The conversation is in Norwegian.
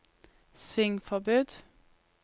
svingforbud